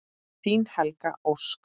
Þín Helga Ósk.